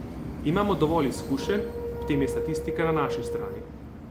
Imamo dovolj izkušenj, ob tem je statistika na naši strani.